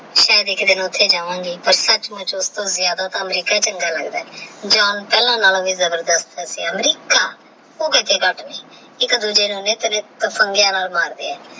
ਸਯਦ ਏਕ ਦਿਨ ਓਹ੍ਤੇ ਜਾਵਾ ਗੇ ਪਰ ਸਚ ਮੁਚ ਉਸ ਤੋਂ ਜ਼ਿਆਦਾ ਤਾ ਅਮਰੀਕਾ ਚ੍ਨਾਗਾ ਲਗਦਾ ਹੈ ਜਾਨ ਪਹਲਾ ਨਾਲੋ ਵੀ ਜਾਦਾ ਜਬਰਦਸ੍ਤ ਹੈ ਅਮ੍ਰਿੱਕਾ ਓਹ ਕੀਤੇ ਡੱਟ ਦੀ ਏਕ ਦੂਜੇ ਨੂ ਨਾਲ ਮਾਰਦੇ ਆਹ